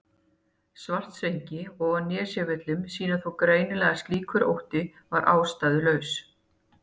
Svartsengi og á Nesjavöllum sýna þó greinilega að slíkur ótti var ástæðulaus.